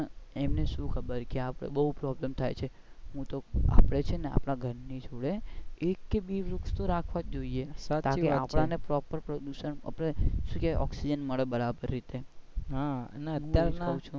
એમને શુ ખબર કે આપણે બઉ problem થાય છે આપણે છે ને આપણા ઘર ની જોડે એક કે બે વૃક્ષ રાખવા જોઈએ તાકી આપણા ને proper પ્રદુષણ શું કે ઓક્સિજન મળે બરાબર રીતે આપણે ને.